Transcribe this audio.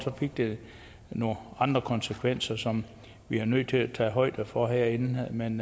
fik det nogle andre konsekvenser som vi er nødt til at tage højde for herinde men